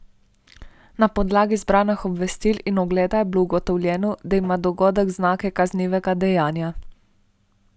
Na podlagi zbranih obvestil in ogleda je bilo ugotovljeno, da ima dogodek znake kaznivega dejanja.